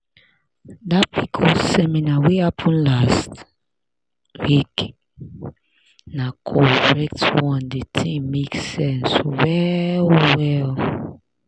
dat pcos seminar wey happen last week na correct one di thing make sense well well.